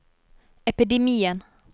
epidemien